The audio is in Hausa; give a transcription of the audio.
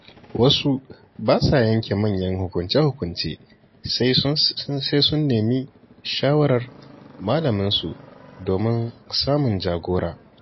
Wasu ba sa yanke manyan hukunce-hukunce sai sun nemi shawarar malaminsu domin samun jagora.